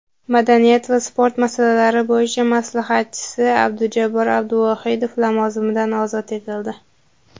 madaniyat va sport masalalari bo‘yicha maslahatchisi Abdujabbor Abduvohidov lavozimidan ozod etildi.